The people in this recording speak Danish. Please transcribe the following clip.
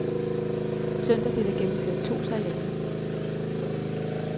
Søndag blev der gennemført to sejladser.